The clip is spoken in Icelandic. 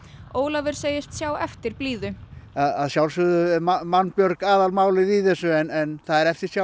Ólafur segist sjá eftir blíðu að sjálfsögðu er mannbjörg aðalmálið í þessu en það er eftirsjá